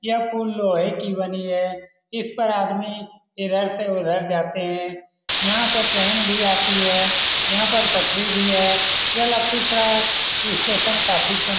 यह पुल लोहे की बनी है इस पर आदमी इधर से उधर जाते है यहाँ पर ट्रैन भी आती है यहाँ पर फटरी भी है यह लखीसराय स्टेशन काफी सुन --